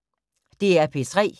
DR P3